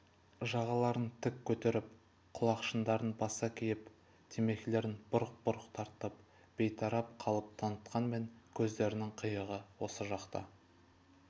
жағаларын тік көтеріп құлақшындарын баса киіп темекілерін бұрқ-бұрқ тартып бейтарап қалып танытқанмен көздерінің қиығы осы жақта